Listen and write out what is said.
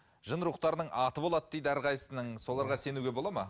жын рухтарының аты болады дейді әрқайсысының соларға сенуге болады ма